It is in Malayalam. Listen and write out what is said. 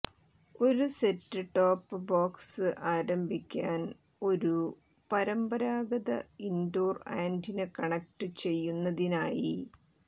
ഒരു സെറ്റ് ടോപ്പ് ബോക്സ് ആരംഭിക്കാൻ ഒരു പരമ്പരാഗത ഇൻഡോർ ആന്റിന കണക്ട് ചെയ്യുന്നതിനായി